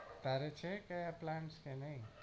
તારી છે કે આ plant નઈ?